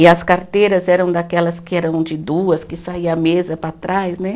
E as carteiras eram daquelas que eram de duas, que saía a mesa para trás, né?